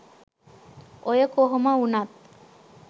ඔය කොහොම වුණත්